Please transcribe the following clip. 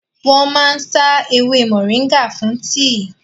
Wọ́n máa ń sá ewé mọ̀nríngà fún tíì